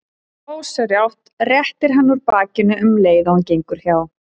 Og ósjálfrátt réttir hann úr bakinu um leið og hann gengur hjá.